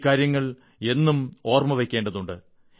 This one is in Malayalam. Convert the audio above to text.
ഈ കാര്യങ്ങൾ എന്നും ഓർമ്മ വയ്ക്കേണ്ടതുണ്ട്